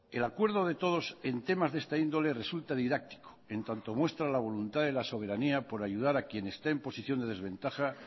el acuerdo de todos en temas de esta índole resulta didáctico en tanto muestra la voluntad de la soberanía por ayudar a quien esté en posición de desventaja